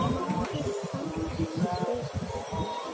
Maður fann ekki fyrir henni.